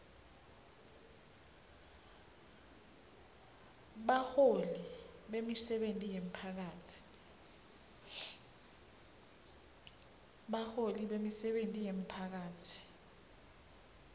baholi bemisebenti yemphakatsi